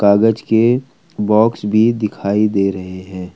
कागज के बॉक्स भी दिखाई दे रहे है।